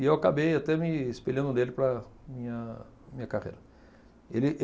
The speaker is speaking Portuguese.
E eu acabei até me espelhando nele para minha minha carreira. Ele ele